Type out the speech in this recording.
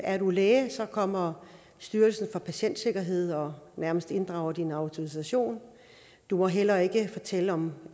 er du læge kommer styrelsen for patientsikkerhed og nærmest inddrager din autorisation du må heller ikke fortælle om